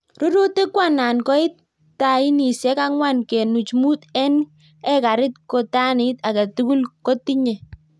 "Rurutik koanan koit tanisiek angw'an kenuch mut en ekarit ko tanit agetugul kotinye